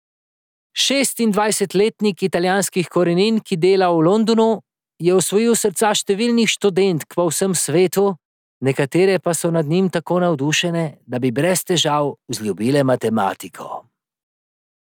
Šestindvajsetletnik italijanskih korenin, ki dela v Londonu, je osvojil srca številnih študentk po vsem svetu, nekatere pa so nad njim tako navdušene, da bi brez težav vzljubile matematiko.